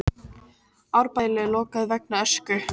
Árbæjarlaug lokað vegna ösku